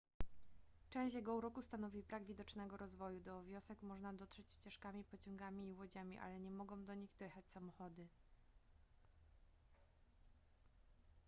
część jego uroku stanowi brak widocznego rozwoju do wiosek można dotrzeć ścieżkami pociągami i łodziami ale nie mogą do nich dojechać samochody